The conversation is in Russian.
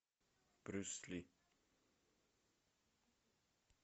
брюс ли